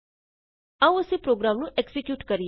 ਆਉ ਅਸੀਂ ਪ੍ਰੋਗਰਾਮ ਨੂੰ ਐਕਜ਼ੀਕਿਯੂਟ ਕਰੀਏ